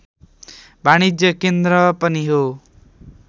वाणिज्य केन्द्र पनि हो